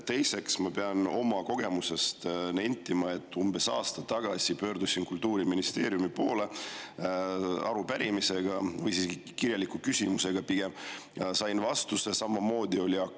Teiseks, ma pean oma kogemuse põhjal nentima, et umbes aasta tagasi pöördusin Kultuuriministeeriumi poole arupärimisega, tegelikult pigem kirjaliku küsimusega, ja sain vastuse, millel samamoodi oli "AK".